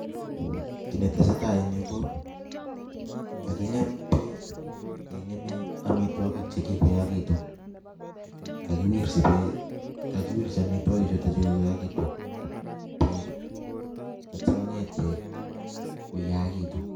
Kiy netesetai eng yu ko kakikem bek kekeme amitwogik che kikoyakitu kakiwirji bek kakiwirji amitwogik chutokyu bek atya konget bek koyakitu.